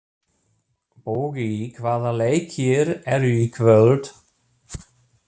Bogi, hvaða leikir eru í kvöld?